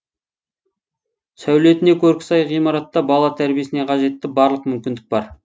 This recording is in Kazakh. сәулетіне көркі сай ғимаратта бала тәрбиесіне қажетті барлық мүмкіндік бар